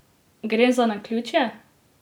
Gre za naključje?